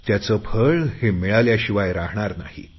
त्याचे फळ हे मिळाल्याशिवाय राहणार नाही